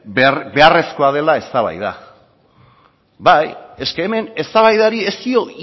beharrezkoa dela eztabaida eske hemen eztabaidari ez dio